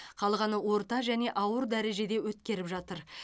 қалғаны орта және ауыр дәрежеде өткеріп жатыр